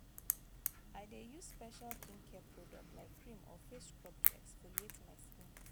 i dey use special skincare product like cream or face scrub to exfoliate my skin.